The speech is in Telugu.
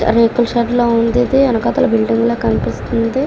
ఇది రేకుల షెడ్ లాగా ఉందిది. వెనకాతల బిల్డింగ్ లాగా కనిపిస్తుంది.